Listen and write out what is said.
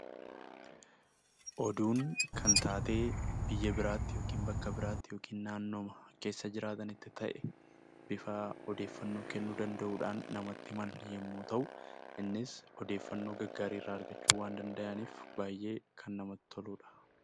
Oduun kan taatee biyya biraatti yookiin bakka biraatti yookiin naannoo keessa jiraatanitti ta'e bifa odeeffannoo kennuu danda'uun namatti himan yemmuu ta'u, innis odeeffannoo gaggaarii irraa argachuu waan danda'aniif baayyee kan namatti toludha.